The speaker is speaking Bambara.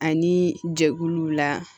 Ani jɛkuluw la